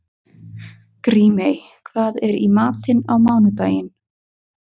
Grímey, hvað er í matinn á mánudaginn?